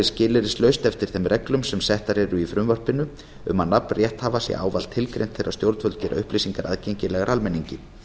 skilyrðislaust eftir þeim reglum sem settar eru í frumvarpinu um að nafn rétthafa sé ávallt tilgreint þegar stjórnvöld gera upplýsingar aðgengilegar almenningi